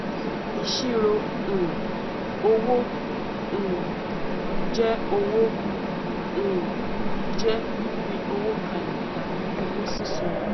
ìṣirò um owó um jẹ owó um jẹ fífi owó kalẹ tàbí owó sísan